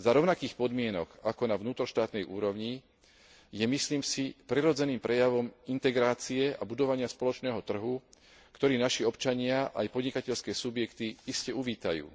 za rovnakých podmienok ako na vnútroštátnej úrovni je, myslím si, prirodzeným prejavom integrácie a budovania spoločného trhu, ktorý naši občania aj podnikateľské subjekty iste uvítajú.